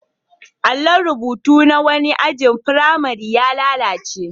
Allon rubutu na wani ajin firamare ya lalace.